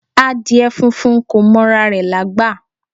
Adìẹ funfun kò mọ ra rè lágbà